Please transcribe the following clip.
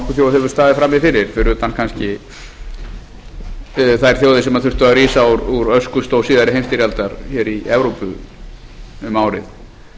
hefur staðið frammi fyrir fyrir utan kannski þær þjóðir sem þurftu að rísa úr öskustó síðari heimsstyrjaldar hér í evrópu um árið